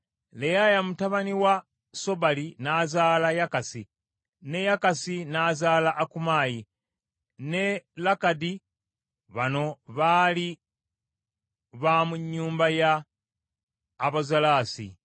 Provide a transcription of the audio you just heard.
Leyaya mutabani wa Sobali n’azaala Yakasi, ne Yakasi n’azaala Akumayi ne Lakadi. Bano baali ba mu nnyumba ya Abazolasi.